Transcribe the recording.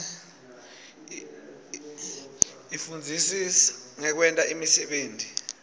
ifundzisa ngekwenta imisebenti